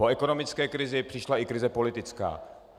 Po ekonomické krizi přišla i krize politická.